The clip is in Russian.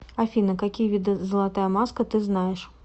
афина какие виды золотая маска ты знаешь